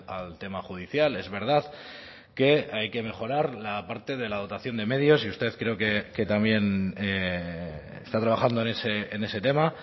al tema judicial es verdad que hay que mejorar la parte de la dotación de medios y usted creo que también está trabajando en ese tema